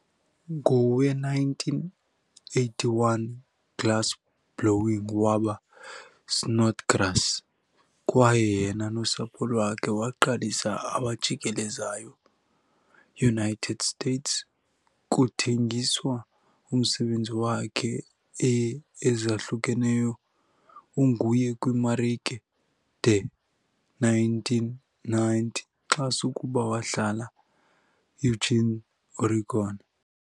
Ngowe-1981 glassblowing waba Snodgrass' kwaye yena nosapho lwakhe waqalisa abajikelezayo-United States, kuthengiswa umsebenzi wakhe e ezahlukeneyo unguye kwiimarike de 1990 xa sukuba wahlala Eugene, Oregon.